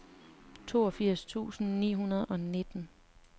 toogfirs tusind ni hundrede og nitten